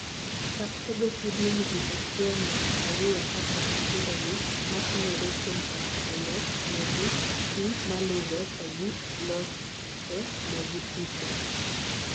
Chak tego seedlings wik achiel nyak ariyo kapok ipithogi, matimore kuom oso olonegi pii malure to gi losenegi tipo.